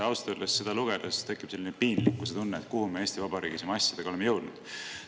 " Ausalt öeldes tekib seda lugedes selline piinlikkustunne, et kuhu me Eesti Vabariigis oma asjadega oleme jõudnud.